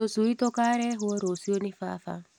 Tũcui tũkarehwo rũcio nĩ baba.